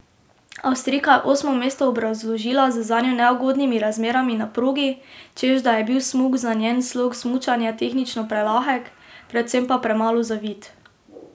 Avstrijka je osmo mesto obrazložila z zanjo neugodnimi razmerami na progi, češ da je bil smuk za njen slog smučanja tehnično prelahek, predvsem pa premalo zavit.